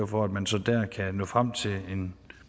for at man så dér kan nå frem til en